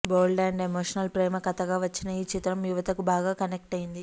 bold and emotional ప్రేమ కథగా వచ్చిన ఈ చిత్రం యువతకు బాగా కనెక్ట్ అయింది